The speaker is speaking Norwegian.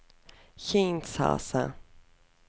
Kinshasa